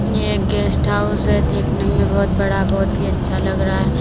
ये guest house है देखने में बहोत बड़ा बहोत ही अच्छा लग रहा है।